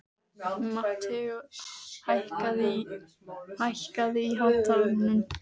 Mateó, hækkaðu í hátalaranum.